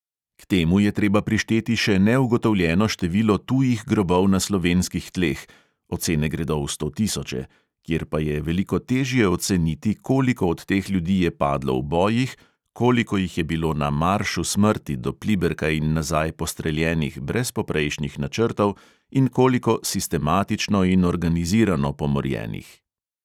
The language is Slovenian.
K temu je treba prišteti še neugotovljeno število tujih grobov na slovenskih tleh – ocene gredo v stotisoče – kjer pa je veliko težje oceniti, koliko od teh ljudi je padlo v bojih, koliko jih je bilo na "maršu smrti" do pliberka in nazaj postreljenih brez poprejšnjih načrtov in koliko sistematično in organizirano pomorjenih.